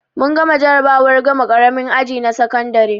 Mun gama jarabawar gama ƙaramin aji na sakandare